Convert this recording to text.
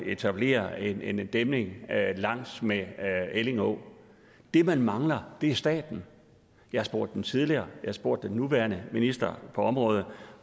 etablere en en dæmning langs med elling å det man mangler er staten jeg har spurgt den tidligere har spurgt den nuværende minister på området